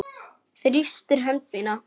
Þrýstir hönd mína.